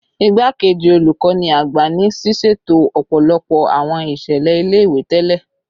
Igbakeji Olukọni Agba ni siseto ọpọlọpọ awọn iṣẹlẹ ile-iwe tẹlẹ